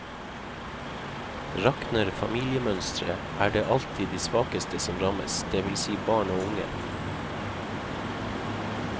Rakner familiemønsteret, er det alltid de svakeste som rammes, det vil si barn og unge.